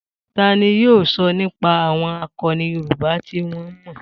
Ta ni yóò sọ nípa àwọn àkọni Yorùbá tí wọ́n mọ̀?